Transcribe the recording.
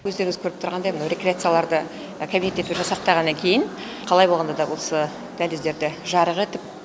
өздеріңіз көріп тұрғандай мынау рекреацияларды кабинеттерге жасақтағаннан кейін қалай болғанда да осы дәліздерді жарық етіп